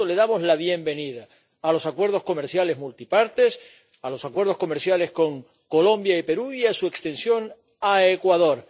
Y, por tanto, damos la bienvenida a los acuerdos comerciales multipartes, a los acuerdos comerciales con Colombia y Perú, y a su extensión a Ecuador.